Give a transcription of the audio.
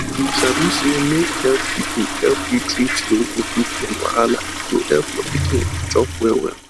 you sabi say make health people help you treat those nipple pain wahala e go help your pikin chop well well